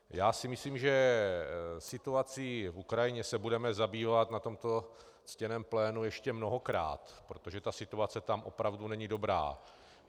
Já si myslím, že situací na Ukrajině se budeme zabývat na tomto ctěném plénu ještě mnohokrát, protože ta situace tam opravdu není dobrá.